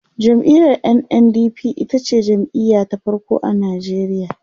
jam'iyar NNDP itace jam'iya ta farko a Nigeria